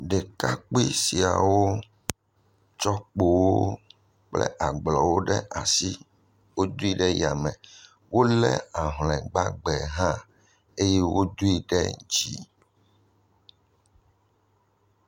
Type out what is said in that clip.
Ɖekakpui siawo tsɔ kpowo kple agblɔwo ɖe asi, wodui ɖe yame, wolé ahlɔe gbagbe hã eye wodoe ɖe dzi.